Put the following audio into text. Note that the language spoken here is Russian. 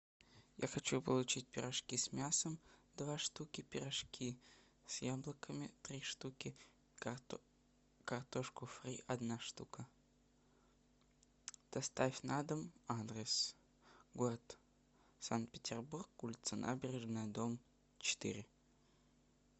я хочу получить пирожки с мясом два штуки пирожки с яблоками три штуки картошку фри одна штука доставь на дом адрес город санкт петербург улица набережная дом четыре